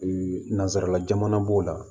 nanzararala jamana b'o la